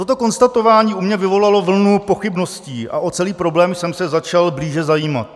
Toto konstatování u mne vyvolalo vlnu pochybností a o celý problém jsem se začal blíže zajímat.